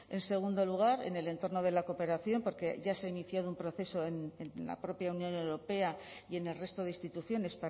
en segundo lugar en el entorno de la cooperación porque ya se ha iniciado un proceso en la propia unión europea y en el resto de instituciones